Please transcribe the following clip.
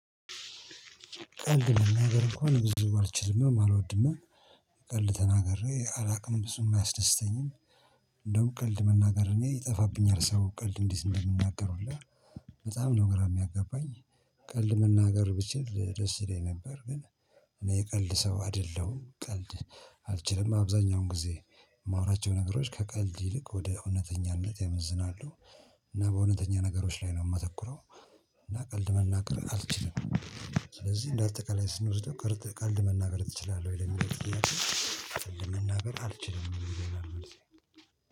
ቀልድ ነው ነገር እኮ ነው ብዙ ባልችልም አልወድም ቀልድ ተናግሬ አላውቅም ብዙም አያስደስተኝም። እንደው ቀልድ መናገር እኔ ይጠፋብኛል ሰው ቀልድ እንዴት እንደምናገር ሁላ በጣም ነው ግራ የሚያጋባኝ። ቀልድ መናገር ብችል ደስ ይለኝ ነበር። ግን እኔ የቀልድ ሰው አይደለሁም ቀልድ። አልችልም አብዛኛውን ጊዜ የማወራቸው ነገሮች ከቀልድ ይልቅ ወደ እውነተኛነት ያመዝናሉ። እና በእውነተኛ ነገሮች ላይ ነው የማተኩረው። እና ቀልድ መናገር አልችልም። ስለዚህ እንደ አጠቃላይ ስንወስደው ቀልድ መናገር ትችላለህ ወይ ለሚለው ጥያቄ? ለመናገር አልችልም አልችልም።